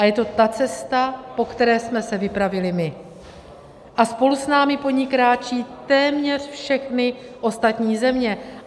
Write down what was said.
A je to ta cesta, po které jsme se vypravili my, a spolu s námi po ní kráčejí téměř všechny ostatní země.